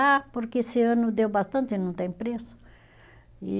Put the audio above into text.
Ah, porque esse ano deu bastante e não tem preço. E